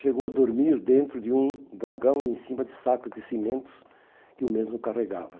Chegou a dormir dentro de um vagão e em cima de sacos de cimentos que o mesmo carregava.